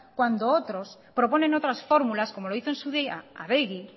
cuando otros proponen otras fórmulas como lo hizo en su día adegi